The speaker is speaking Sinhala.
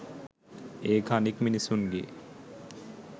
ඒක අනික් මිනිස්සුන්ගේ